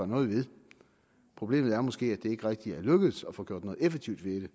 noget ved problemet er måske at det ikke rigtig er lykkedes at få gjort noget effektivt ved